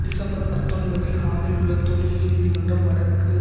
December பத்தொன்பதில் ஹாம்மிலுள்ள தொழில் நீதிமன்றம் வடக்கு